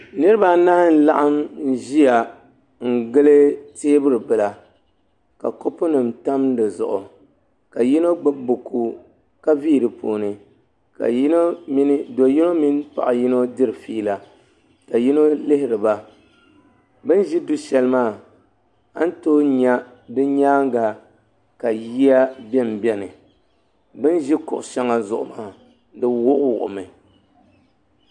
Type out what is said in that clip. Niriba anahi n laɣim ziya n gili tɛɛbuli bila ka kopu nim tam si Zuɣu ka yino gbubi buku ka vii di puuni ka do yino mini Paɣi yino diri feela ka yino lihiri ba bini zi du shɛli ni maa an too yɛ ka yiya bɛni bɛni binzi kuɣu shɛŋa Zuɣu maa di wuɣi wuɣi mi.